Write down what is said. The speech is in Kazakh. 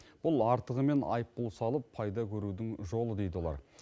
бұл артығымен айыппұл салып пайда көрудің жолы дейді олар